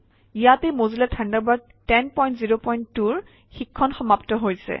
ইয়াতে Mozilla Thunderbird 1002 ৰ শিক্ষণ সমাপ্ত হৈছে